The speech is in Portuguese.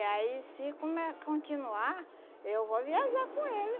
aí, se come continuar, eu vou viajar com ele.